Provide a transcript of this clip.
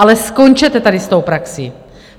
Ale skončete tady s tou praxí!